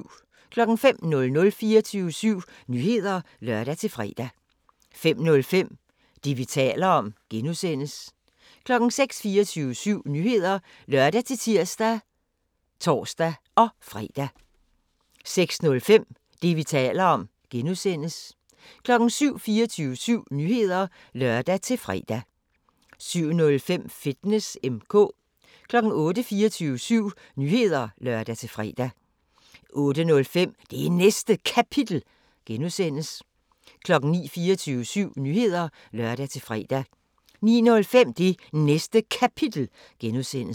05:00: 24syv Nyheder (lør-fre) 05:05: Det, vi taler om (G) 06:00: 24syv Nyheder (lør-tir og tor-fre) 06:05: Det, vi taler om (G) 07:00: 24syv Nyheder (lør-fre) 07:05: Fitness M/K 08:00: 24syv Nyheder (lør-fre) 08:05: Det Næste Kapitel (G) 09:00: 24syv Nyheder (lør-fre) 09:05: Det Næste Kapitel (G)